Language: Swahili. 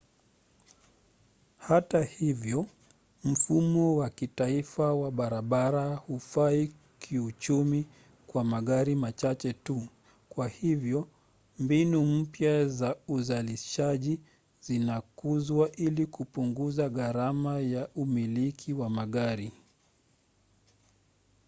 hata hivyo mfumo wa kitaifa wa barabara hufai kiuchumi kwa magari machache tu kwa hivyo mbinu mpya za uzalishaji zinakuzwa ili kupunguza gharama ya umiliki wa magari